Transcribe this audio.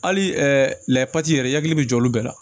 Hali lɛpati yɛrɛ i hakili bɛ jɔ olu bɛɛ la